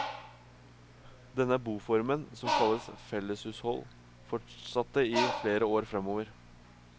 Denne boformen, som kalles felleshushold, fortsatte i flere år framover.